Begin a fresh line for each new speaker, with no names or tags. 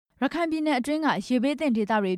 ရခိုင်ပြည်နယ် ရေဘေးသင့်ဒေသတွေ